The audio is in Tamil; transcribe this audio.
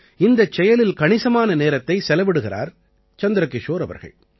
இந்தச் செயலில் கணிசமான நேரத்தை செலவிடுகிறார் சந்திரகிஷோர் அவர்கள்